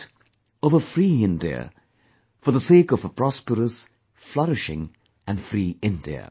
that of a free India...for the sake of a prosperous, flourishing and free India